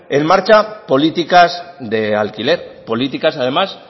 en marcha políticas de alquiler políticas además